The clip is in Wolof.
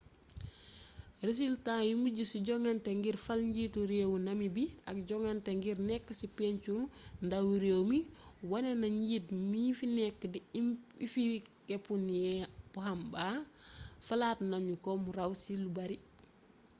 resultaa yu mujj ci jongante ngir fal njiitu réewu namibi ak jongante ngir nekk ci pencu ndawi réew mi wone na ne njiit mii fi nekk di hifikepunye pohamba falaat nanu ko mu raw ci lu bare